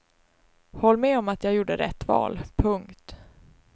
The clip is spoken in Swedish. Håll med om att jag gjorde rätt val. punkt